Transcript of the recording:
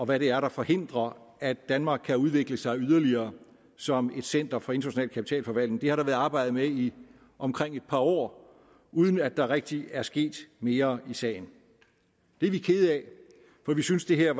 hvad det er der forhindrer at danmark kan udvikle sig yderligere som et center for international kapitalforvaltning det har der været arbejdet med i omkring et par år uden at der rigtig er sket mere i sagen det er vi kede af for vi synes det her